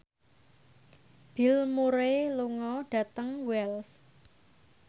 Bill Murray lunga dhateng Wells